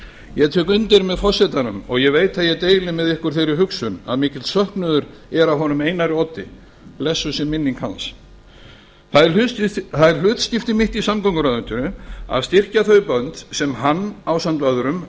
ég tek undir með forsetanum og ég veit að ég deili með ykkur þeirri hugsun að mikill söknuður er að honum einari oddi blessuð sé minning hans það er hlutskipti mitt í samgönguráðuneytinu að styrkja þau bönd sem hann ásamt öðrum